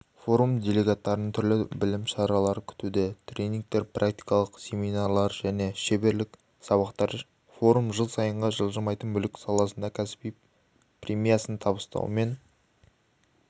форум делегаттарын түрлі білім шаралары күтуде тренингтер практикалық семинарлар мен шеберлік сабақтар форум жыл сайынғы жылжымайтын мүлік саласында кәсіби премиясын табыстаумен